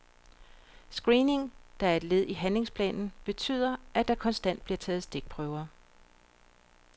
Screeningen, der er et led i handlingsplanen, betyder, at der konstant bliver taget stikprøver.